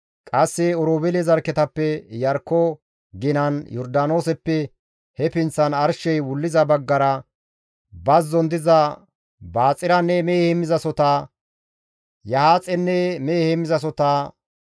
Qasse Oroobeele zarkketappe Iyarkko ginan, Yordaanooseppe he pinththan arshey wulliza baggara, bazzon diza Baxiranne mehe heemmizasohota, Yahaaxenne mehe heemmizasohota,